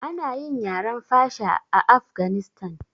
Ana yi yaren fasha a afganistan